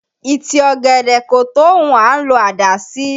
Ìtì ọ̀gẹ̀dẹ̀ kò tó ohun à ń lọ àdá sí